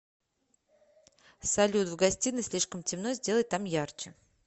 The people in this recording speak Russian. салют в гостиной слишком темно сделай там ярче